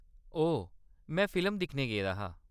ओह्‌‌, में फिल्म दिक्खन गेदा हा।